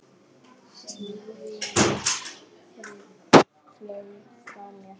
Tíminn flaug frá mér.